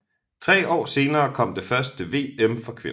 Tre år senere kom det første VM for kvinder